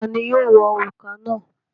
Ta ni yóò wọ òrùka náà?